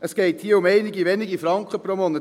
Es geht hier um einige wenige Franken pro Monat.